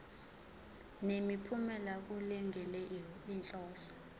nemiphumela kulungele inhloso